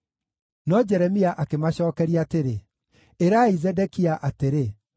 No Jeremia akĩmacookeria atĩrĩ, “Ĩrai Zedekia atĩrĩ,